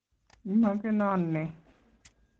Imogenon ne?